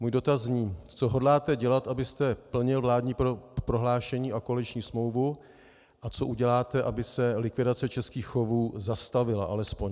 Můj dotaz zní: Co hodláte dělat, abyste plnil vládní prohlášení a koaliční smlouvu, a co uděláte, aby se likvidace českých chovů zastavila alespoň.